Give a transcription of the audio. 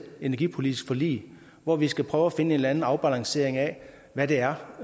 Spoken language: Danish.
energipolitiske forlig hvor vi skal prøve at finde en eller anden afbalancering af hvad det er